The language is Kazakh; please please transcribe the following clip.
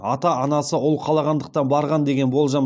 ата анасы ұл қалағандықтан барған деген болжам